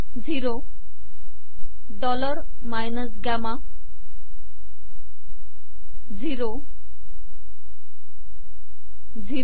zero dollar minus gamma zero zero